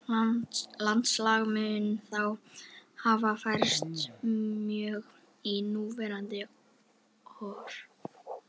Landslag mun þá hafa færst mjög í núverandi horf.